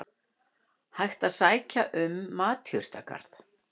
Hægt að sækja um matjurtagarð